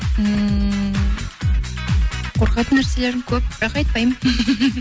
ммм қорқатын нәрселерім көп бірақ айтпаймын